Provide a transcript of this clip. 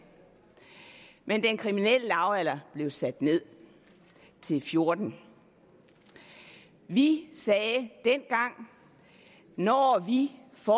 men den kriminelle lavalder blev sat ned til fjorten år vi sagde dengang at når vi får